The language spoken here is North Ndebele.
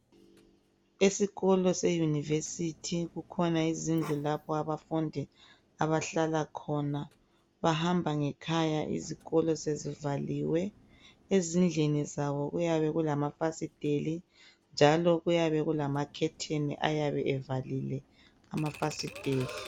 Esikolo seYunivesi kukhona izindlu lapho abafundi abahlala khona. Bahamba ngekhaya izikolo sezivaliwe .Ezindlini zabo kuyabe kulama fasiteli njalo kuyabe kulama khetheni ayabe evalile amafasiteli.